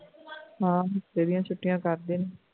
ਹਾਂ ਹਫਤੇ ਦੀਆ ਛੁਟੀਆ ਕਰਦੇ ਨੇ